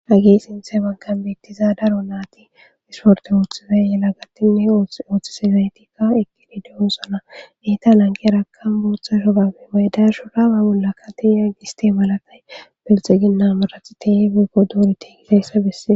Agey sinseefankan beettiza daro naati isporte ooththizay yela gattinne ooththisezaytikka ekinideyosana netan anke rakam booththa shobabe maydashu raaba bolla kati ya giste malakay belxe ginna marat te fekko doori teegiteyssa bessee